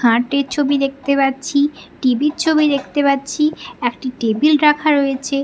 খাটের ছবি দেখতে পাচ্ছি টি.ভি র ছবি দেখতে পাচ্ছি একটি টেবিল রাখা রয়েছে ।